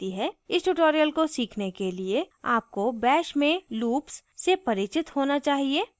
इस tutorial को सीखने के लिए आपको bash में loops से परिचित होना चाहिए